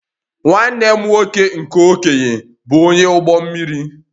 Nwanne m nwoke nke okenye bụ onye ụgbọ mmiri